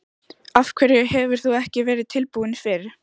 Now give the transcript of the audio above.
Af hverju hefur þú ekki verið tilbúin fyrr?